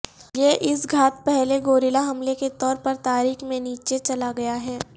یہ اس گھات پہلے گوریلا حملے کے طور پر تاریخ میں نیچے چلا گیا ہے